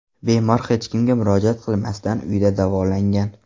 Bemor hech kimga murojaat qilmasdan uyida davolangan.